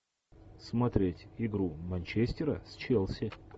смотреть игру манчестера с челси